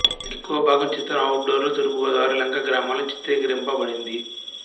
ఎక్కువభాగం చిత్రం outdoor లో తూర్పు గోదావరి లంక గ్రామాల్లో చిత్రీకరింపబడింది